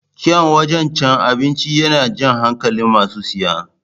Kyaun wajan cin abinci yana jan hankalin masu siya